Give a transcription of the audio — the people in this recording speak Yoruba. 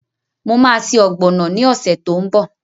Mo ma se ọ̀gbọ̀nọ̀ ni ọ̀sẹ̀ tó ń bọ̀